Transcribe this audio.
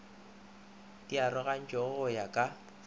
di arogantšwe go ya ka